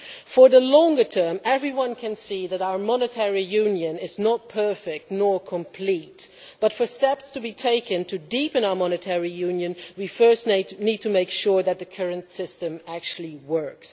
For the longer term everyone can see that our monetary union is not perfect or complete, but for steps to be taken to deepen our monetary union we first need to make sure that the current system actually works.